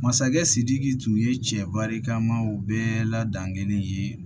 Masakɛ sidiki tun ye cɛ barikamaw bɛɛ la dangelen ye